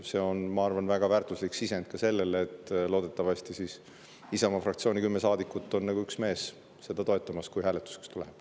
See on, ma arvan, väga väärtuslik sisend ka selle kohta, et loodetavasti Isamaa fraktsiooni kümme saadikut on nagu üks mees seda toetamas, kui hääletuseks läheb.